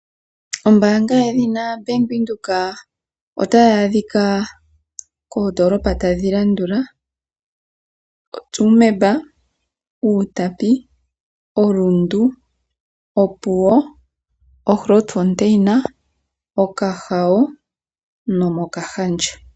Ombaanga yedhina Bank Windhoek otayi adhika koondoolopa tadhi landula: oTsumeb, Outapi, oRundu, oGrootfontein, Okahao nomOkahandja.